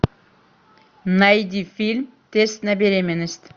найди фильм тест на беременность